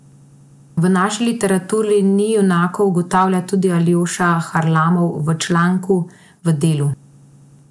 V naši literaturi ni junakov, ugotavlja tudi Aljoša Harlamov v članku v Delu.